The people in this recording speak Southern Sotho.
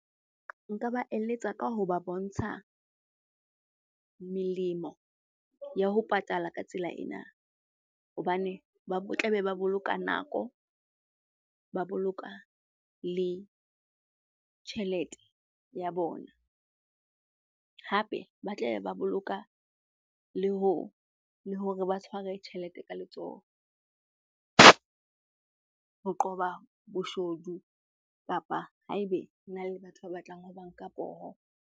Nka ba eletsa ka hoba bontsha melemo ya ho patala ka tsela ena hobane ba tlabe ba boloka nako, ba boloka le tjhelete ya bona. Hape ba tla be ba boloka le hore ba tshware tjhelete ka letsoho ho qoba boshodu kapa haebe hona le batho ba batlang ho ba nka poho.